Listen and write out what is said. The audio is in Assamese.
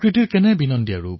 কি প্ৰকৃতি সেই ঠাইৰ